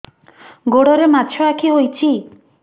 ଗୋଡ଼ରେ ମାଛଆଖି ହୋଇଛି